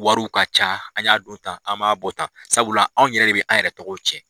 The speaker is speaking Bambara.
Wariw ka ca an y'a dɔ tan an ma b'a bɔ tan, sabula anw yɛrɛ de bɛ an yɛrɛ tɔgɔw ciɛn.